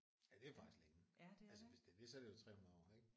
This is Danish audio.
Ja det er jo faktisk længe altså hvis det er det så er det jo 300 år ik